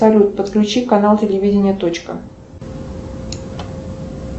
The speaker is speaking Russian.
салют подключи канал телевидения точка